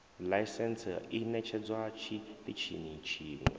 ḽaisentse i ṋetshedzwa tshiṱitshini tshiṅwe